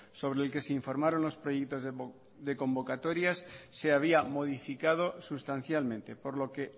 sobre el que se informaron los proyectos de convocatorias se había modificado sustancialmente por lo que